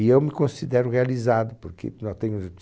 E eu me considero realizado, porque eu já tenho